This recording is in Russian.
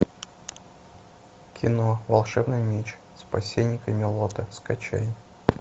кино волшебный меч спасение камелота скачай